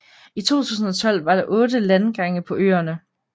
I 2012 var der otte landgange på øerne